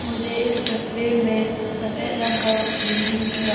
मुझे इस तस्वीर में सफेद रंग का बिल्डिंग दिख रहा--